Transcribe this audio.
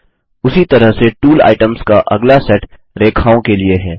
उसी तरह से टूल आइटम्स का अगला सेट रेखाओं के लिए है